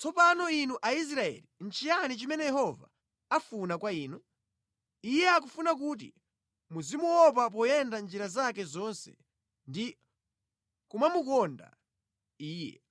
Tsopano inu Aisraeli, nʼchiyani chimene Yehova afuna kwa inu? Iye akufuna kuti muzimuopa poyenda mʼnjira zake zonse ndi kumamukonda Iye,